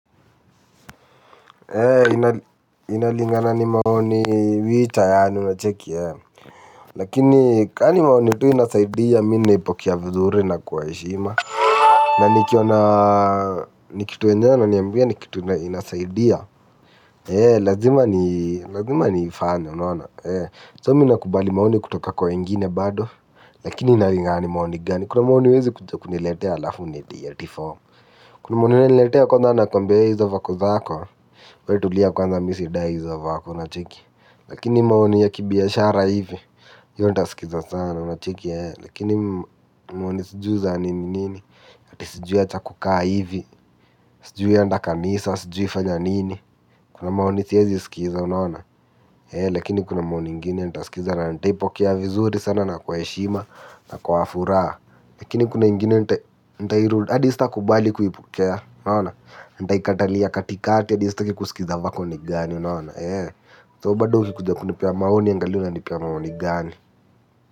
Inalingana ni maoni mita yaani unacheki yae. Lakini kani maoni tui inasaidia minaipokia vizuri na kuwa heshima. Na nikiona nikitu enjona na niambia ni kitu inasaidia. Lazima ni fane unawana So mi nakubali maoni kutoka kwa wengine bado. Lakini inalingani maoni gani kuna maoni uwezi kuniletea alafu nite atie form. Kuna maoni wezi uniletea kwanza nakwambia hizo vako zako We tulia kwanza misi dai izo vako, unacheki. Lakini maoni ya kibiashara hivi Yo ntaskiza sana, unacheki. Lakini maoni sijui za nini nini. Atisijui acha kukaa hivi. Sijui enda kanisa, sijui fanya nini. Kuna maoni siyezi sikiza, unaona. Lakini kuna maoni ingini, ntaskiza. Na ntaipokea vizuri sana na kwa heshima na kwa furaha. Lakini kuna ingini, ntairud. Adi stakubali kuhipokea, unaona. Ndaikatali ya katikati adi staki kusikiza vako ni gani unaona so bado ukikuja kunipea maoni angalia unanipea maoni gani.